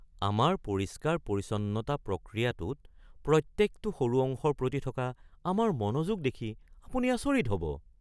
আমাৰ পৰিষ্কাৰ-পৰিচ্ছন্নতা প্ৰক্ৰিয়াটোত প্ৰত্যেকটো সৰু অংশৰ প্ৰতি থকা আমাৰ মনোযোগ দেখি আপুনি আচৰিত হ'ব।